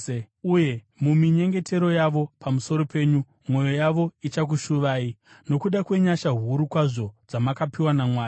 Uye muminyengetero yavo pamusoro penyu mwoyo yavo ichakushuvai, nokuda kwenyasha huru kwazvo dzamakapiwa naMwari.